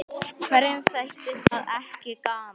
Hverjum þætti það ekki gaman?